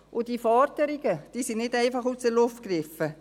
Und diese Forderungen sind nicht einfach aus der Luft gegriffen.